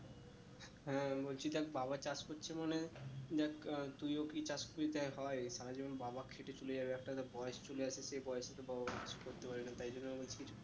হ্যাঁ আমি বলছি দেখ বাবা চাষ করছে মানে দেখ তুইও কি চাষ তুই দেখ হয়ে সারা জীবন বাবা খেটে চলে যাবে একটা তো বয়েস চলে আসছে সেই বয়েসে তোর বাবা কিছু করতে পারবে না তাই জন্য আমি বলছি